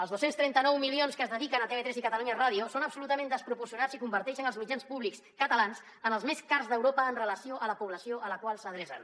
els dos cents i trenta nou milions que es dediquen a tv3 i catalunya ràdio són absolutament desproporcionats i converteixen els mitjans públics catalans en els més cars d’europa amb relació a la població a la qual s’adrecen